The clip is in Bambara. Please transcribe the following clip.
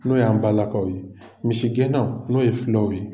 N'o y'an balakaw ye, misigɛna n'o ye fulaw ye.